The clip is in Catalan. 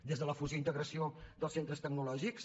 des de la fusió i integració dels centres tecnològics